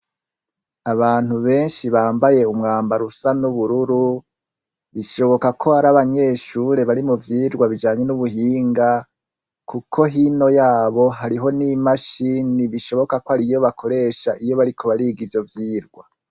Abantu benshi bambaye umwamba rusa n'ubururu bishoboka ko hari abanyeshure bari mu vyirwa bijanye n'ubuhinga, kuko hino yabo hariho n'imashini bishoboka ko ari iyo bakoresha iyo bariko bariga ivyo vyirwa.